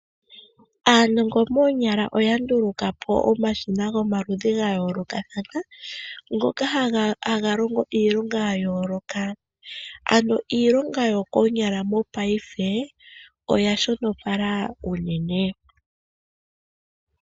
Aanongo moonyala oya ndulukapo omashina gayolokathana ngoka haga longo iilonga yayoloka. Ano iilonga yokoonyala paife oya shonopala.